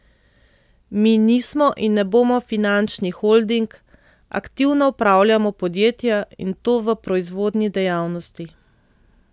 Mi nismo in ne bomo finančni holding, aktivno upravljamo podjetja, in to v proizvodni dejavnosti.